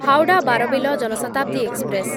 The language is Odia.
ହାୱଡ଼ା ବାରବିଲ ଜନ ଶତାବ୍ଦୀ ଏକ୍ସପ୍ରେସ୍